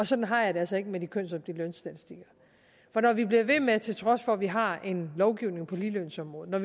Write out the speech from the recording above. sådan har jeg det altså ikke med de kønsopdelte lønstatistikker for når vi bliver ved med til trods for at vi har en lovgivning på ligelønsområdet at